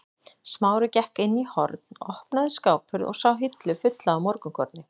Smári gekk inn í horn, opnaði skáphurð og sá hillu fulla af morgunkorni.